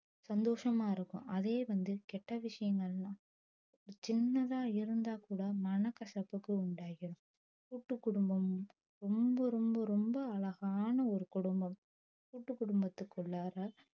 சந்தோசமா இருக்கும் அதே வந்து கெட்ட விஷயங்கள் எல்லாம் சின்னதா இருந்தா கூட மன கசப்புக்கு உண்டாக்கிரும் கூட்டு குடும்பம் ரொம்ப ரொம்ப ரொம்ப அழகான ஒரு குடும்பம் கூட்டு குடும்பத்துக்குள்ளார